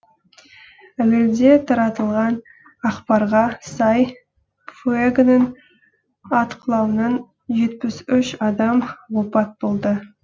әуелде таратылған ақпарға сай фуэгоның атқылауынан жетпіс үш адам опат болды